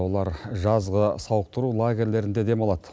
олар жазғы сауықтыру лагерьлерінде демалады